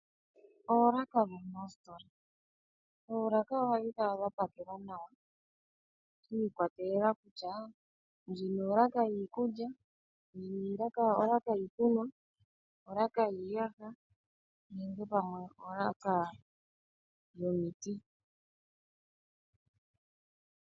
Oolaka dhomoositola. Oolaka ohadhi kala dha pakelwa nawa shi ikwatelela kutya ndjino olaka yiikulya, ndjino olaka yiikunwa, olaka yiiyaha nenge pamwe olaka yomiti.